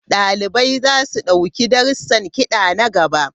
Dalibai za su ɗauki darussan kiɗa na gaba.